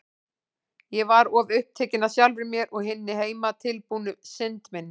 Ég var of upptekin af sjálfri mér og hinni heimatilbúnu synd minni.